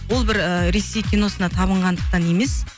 ол бір ыыы ресей киносына табынғандықтан емес